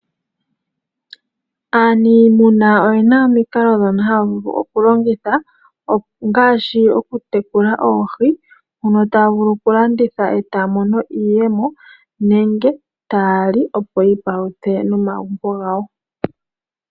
Aaniimuna oyena omikalo dhono haavulu okulongitha, ngaashi okutekula oohi, mono taavulu okulanditha etaamono iiyemo nenge taali opo yiipaluthe nomagunbo gawo.